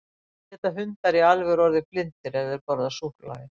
Geta hundar í alvöru orðið blindir ef þeir borða súkkulaði?